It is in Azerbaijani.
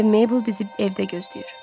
İndi Meybl bizi evdə gözləyir.